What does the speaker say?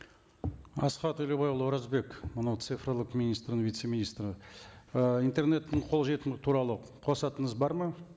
асхат елубайұлы оразбек мынау цифрлық министрінің вице министрі і интернеттің қолжетімділігі туралы қосатыныңыз бар ма